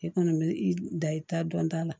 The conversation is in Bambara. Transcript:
I kɔni bɛ i da i ta dɔn ta la